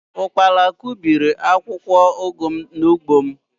ụkpala kụbiri akwụkwọ ugu m n’ugbo m